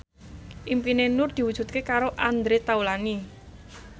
impine Nur diwujudke karo Andre Taulany